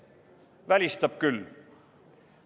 Välistab küll.